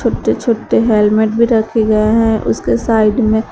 छोटे छोटे हेलमेट भी रखे गए हैं उसके साइड में।